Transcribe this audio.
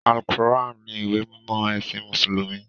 Al-Qur'an ni ìwé mímọ́ ẹ̀sìn Mùsùlùmí.